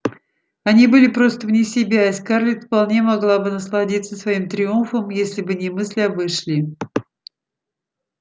они были просто вне себя и скарлетт вполне могла бы насладиться своим триумфом если бы не мысль об эшли